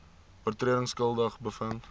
oortredings skuldig bevind